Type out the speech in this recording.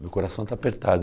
Meu coração está apertado.